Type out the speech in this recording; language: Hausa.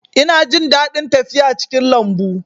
Ina jin daɗin tafiya cikin lambu